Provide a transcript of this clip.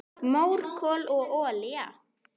Mór, kol, olía